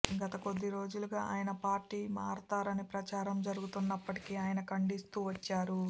గత కొద్దిరోజులుగా ఆయన పార్టీ మారతారని ప్రచారం జరుగుతున్నప్పట్టికీ ఆయన ఖండిస్తూ వచ్చారు